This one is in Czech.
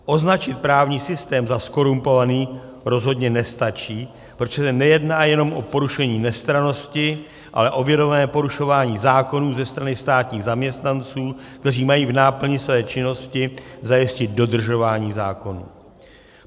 Označit právní systém za zkorumpovaný rozhodně nestačí, protože se nejedná jenom o porušení nestrannosti, ale o vědomé porušování zákonů ze strany státních zaměstnanců, kteří mají v náplni svoji činnosti zajistit dodržování zákonů.